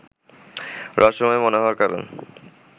রহস্যময় মনে হওয়ার কারণ